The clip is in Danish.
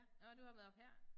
Nåh du har været au pair